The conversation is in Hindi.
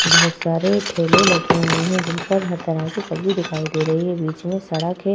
बोहोत सारे ठेले लगे हुए हैं जिनपर हर तरह की सब्जी दिखाई दे रही है। बीच में सड़क है।